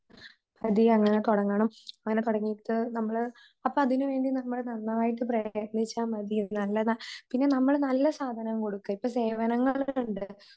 അതിഅങ്ങനെ തുടങ്ങണം അങ്ങനെ തുടങ്ങീട്ട് നമ്മള് അപ്പഅതിനുവേണ്ടി നമ്മള് നന്നായിട്ട് പ്രയത്‌നിച്ചാമതി നല്ലതനമ്മള് നല്ലസാധനം കൊടുക്ക ഇപ്പ സേവനങ്ങളുണ്ട്